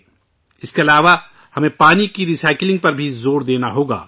اس کے علاوہ ، ہمیں پانی کی ری سائیکلنگ پر برابر زور دیتے رہنا چاہیئے